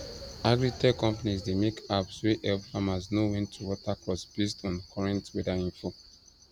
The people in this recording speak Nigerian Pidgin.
agritech companies dey make apps wey help farmers know when to water crops based on current weather info